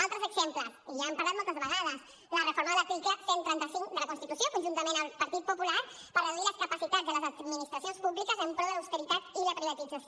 altres exemples i ja n’hem parlat moltes vegades la reforma de l’article cent i trenta cinc de la constitució conjuntament amb el partit popular per reduir les capacitats de les administracions públiques en pro de l’austeritat i la privatització